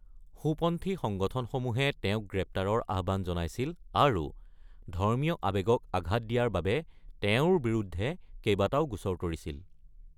সোঁপন্থী সংগঠনসমূহে তেওঁক গ্ৰেপ্তাৰৰ আহ্বান জনাইছিল আৰু ধৰ্মীয় আৱেগক আঘাত দিয়াৰ বাবে তেওঁৰ বিৰুদ্ধে কেইবাটাও গোচৰ তৰিছিল।